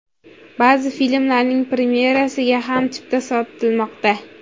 Ba’zi filmlarning premyerasiga ham chipta sotilmoqda.